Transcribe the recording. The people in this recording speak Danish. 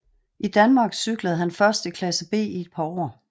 I Danmark cyklede han først i klasse B i et par år